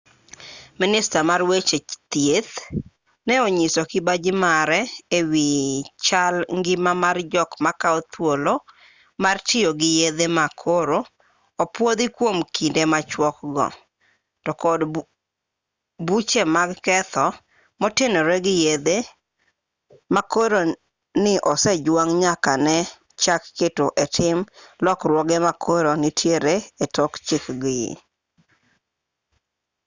minista mar weche thieth ne onyiso kibaji mare e wi chal ngima mar jok makao thuolo mar tiyo gi yedhe ma koro opuodhi kuom kinde machuok go to kod buche mag keth motenore gi yedhe ma koro ni osejwang' nyaka ne chak keto e tim lokruoge ma koro nitiere e tok chik gi